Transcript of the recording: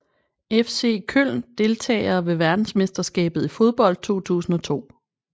FC Köln Deltagere ved verdensmesterskabet i fodbold 2002